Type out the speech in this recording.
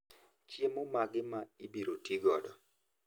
Chiemo mage ma ibiro tigodo?